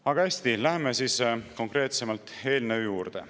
Aga hästi, läheme konkreetsemalt eelnõu juurde.